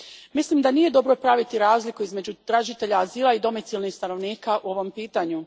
Mislim da nije dobro praviti razliku između tražitelja azila i domicilnih stanovnika u ovom pitanju.